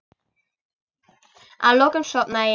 Að lokum sofnaði ég.